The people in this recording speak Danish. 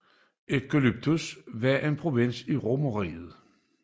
Aegyptus var en provins i Romerriget